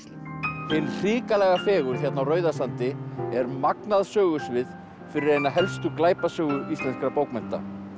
hin hrikalega fegurð hérna á Rauðasandi er magnað sögusvið fyrir eina helstu glæpasögu íslenskra bókmennta